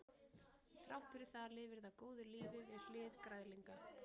Þrátt fyrir það lifir það góðu lífi við hlið græðlinga.